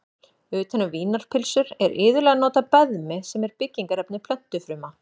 Utan um vínarpylsur er iðulega notað beðmi sem er byggingarefni plöntufruma.